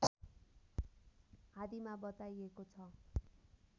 आदिमा बताइएको छ